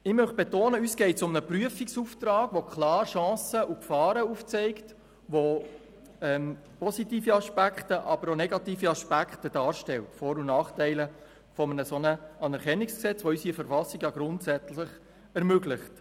Ich betone, dass es uns um einen Prüfungsauftrag geht, der klar Chancen und Gefahren aufzeigt, positive und negative Aspekte, Vor- und Nachteile eines solchen Anerkennungsgesetzes, das unsere Verfassung grundsätzlich ermöglicht.